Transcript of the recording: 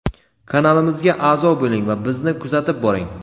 Kanalimizga a’zo bo‘ling va bizni kuzatib boring.